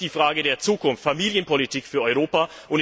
Das ist die Frage der Zukunft, Familienpolitik für Europa.